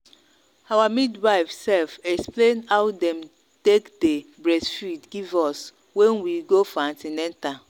our midwife sef explain how them take day breastfeed give us when we go for an ten atal